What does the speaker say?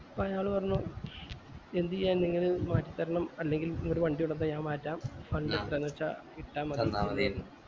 പ്പ അയാള് പറഞ്ഞു എന്ത് ചെയ്യാ നിങ്ങൾ ഇത് മാറ്റി തരണം അല്ലെങ്കി ഇങ്ങൾ വണ്ടി കൊണ്ടന്ന ഞാൻ മാറ്റാം fund എത്രന്ന് വച്ച ഇട്ട മതി ന്ന്